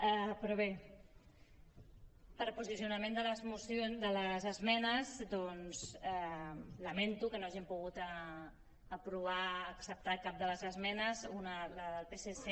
però bé per posicionament de les esmenes doncs lamento que no hàgim pogut aprovar acceptar cap de les esmenes una la del psc